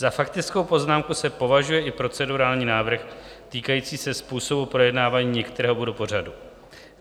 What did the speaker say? Za faktickou poznámku se považuje i procedurální návrh týkající se způsobu projednávání některého bodu pořadu.